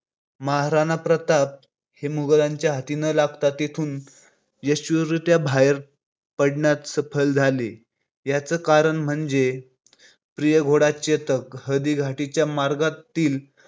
महाराणा प्रताप हे मुघलांच्या हाती न लागता तिथून यशस्वीरीत्या बाहेर पडण्यात सफल झाले. याचे कारण म्हणजे त्यांचा प्रिय घोडा चेतक हा हळदीघाटी च्या मार्गातील